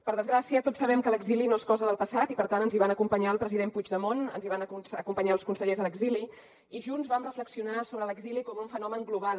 per desgràcia tots sabem que l’exili no és cosa del passat i per tant ens hi van acompanyar el president puigdemont ens hi van acompanyar els consellers a l’exili i junts vam reflexionar sobre l’exili com un fenomen global